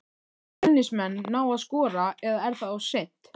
Munu Fjölnismenn ná að skora eða er það of seint?